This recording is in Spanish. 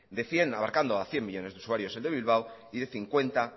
de cien abarcando a cien millónes de usuarios el de bilbao y de cincuenta